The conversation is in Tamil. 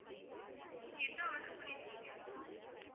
நீங்க என்ன order பண்ணிருக்கீங்க?